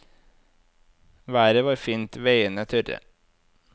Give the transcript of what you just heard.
Været var fint, veiene tørre.